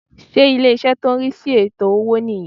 Ṣé ilé-ìṣẹ́ tó n rí sí ètò owó nì yan